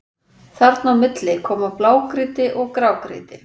Þarna á milli koma blágrýti og grágrýti.